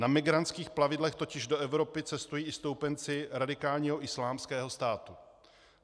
Na migrantských plavidlech totiž do Evropy cestují i stoupenci radikálního Islámského státu.